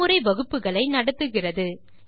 செய்முறை வகுப்புகளை நடத்துகிறது